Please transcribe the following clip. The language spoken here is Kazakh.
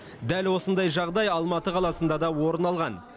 дәл осындай жағдай алматы қаласында да орын алған